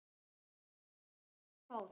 Löpp er fót.